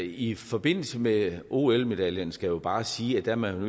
i forbindelse med ol medaljerne skal jeg jo bare sige at man